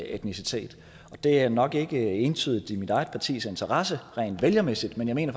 etnicitet det er nok ikke entydigt i mit eget partis interesse rent vælgermæssigt men jeg mener